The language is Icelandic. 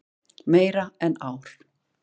Meira en ár.